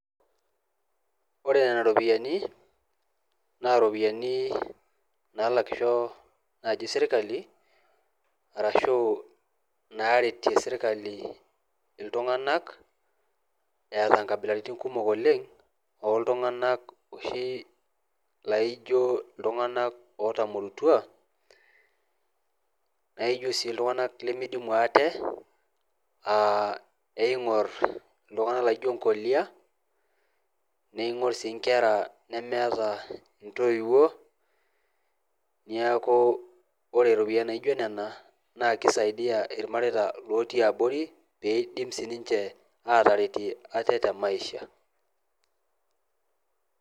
Ore Nena ropiyiani naa iropiyiani naalakisho naaji sirkali arashuu naaretie sirkali iltung'anak eeta nkabilaritin kumok oleng oo ltung'anak dooi laaijo lootamorutua naaijo sii ltung'anak limidimu ate eing'orr sii nkolia, eing'orr sii nkera nemeeta ntoiwuo, neeku ore mpisai naaijo nena neishori lelo tung'ana pee eidimu sii ninche maaisha.